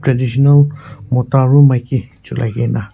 traditional mota aru maki cholai kaena.